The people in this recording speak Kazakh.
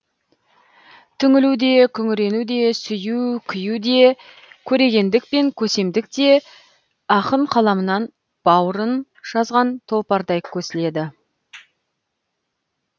түңілу де күңірену де сүю күю де көрегендік пен көсемдік те ақын қаламынан баурын жазған тұлпардай көсіледі